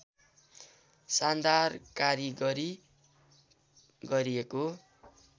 शानदार कारिगरी गरिएको